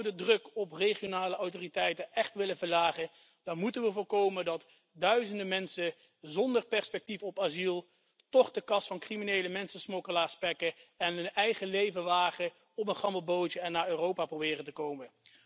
Als we de druk op regionale autoriteiten echt willen verlagen, dan moeten we voorkomen dat duizenden mensen zonder perspectief op asiel toch de kas van criminele mensensmokkelaars spekken en hun eigen leven wagen door op een gammel bootje naar Europa proberen te komen.